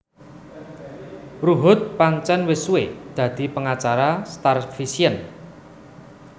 Ruhut pancén wis suwé dadi pengacara StarVision